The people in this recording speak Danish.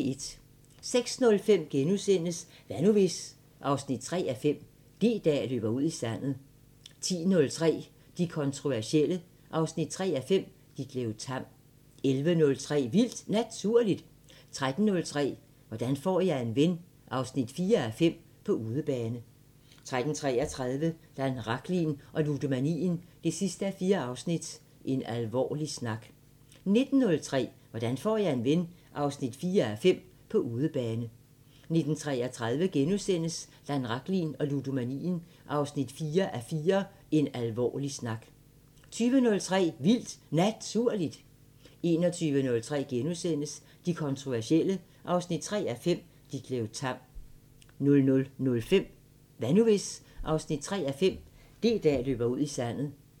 06:05: Hvad nu hvis...? 3:5 – D-dag løber ud i sandet * 10:03: De kontroversielle 3:5 – Ditlev Tamm 11:03: Vildt Naturligt 13:03: Hvordan får jeg en ven 4:5 – På udebane 13:33: Dan Rachlin og ludomanien 4:4 – En alvorlig snak 19:03: Hvordan får jeg en ven 4:5 – På udebane 19:33: Dan Rachlin og ludomanien 4:4 – En alvorlig snak * 20:03: Vildt Naturligt 21:03: De kontroversielle 3:5 – Ditlev Tamm * 00:05: Hvad nu hvis...? 3:5 – D-dag løber ud i sandet